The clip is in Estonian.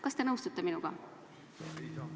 Kas te nõustute minuga?